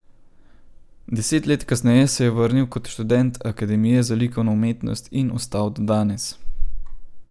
Deset let kasneje se je vrnil kot študent Akademije za likovno umetnost in ostal do danes.